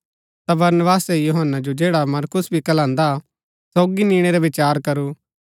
ता बरनबासै यूहन्‍ना जो जैडा मरकुस भी कहलान्दा हा सोगी निणै रा विचार करू